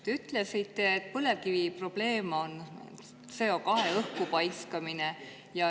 Te ütlesite, et põlevkivi probleem on CO2 õhku paiskamine.